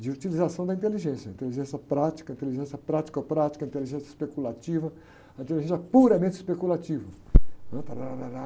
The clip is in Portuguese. de utilização da inteligência, inteligência prática, inteligência pratico prática, inteligência especulativa, inteligência puramente especulativa, né? Tárárárárá.